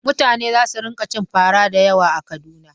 Mutane za su rinƙa cin fara da yawa a Kaduna.